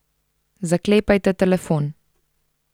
Zaklepajte telefon.